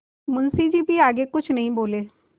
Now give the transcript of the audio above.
मुंशी जी भी आगे कुछ नहीं बोले